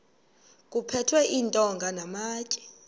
kuphethwe iintonga namatye